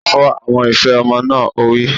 Fọ àwọn ife ọmọ náà! Ó wí.